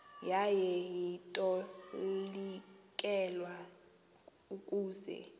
yaye itolikelwa ukuze